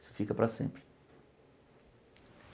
Isso fica para sempre.